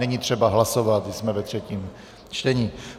Není třeba hlasovat, jsme ve třetím čtení.